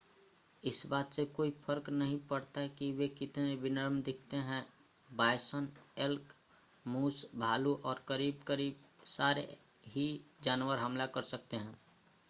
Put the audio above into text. इस बात से कोई फर्क नहीं पड़ता कि वे कितने विनम्र दिखते हैं बायसन एल्क मूस भालू और करीब-करीब सारे ही जानवर हमला कर सकते हैं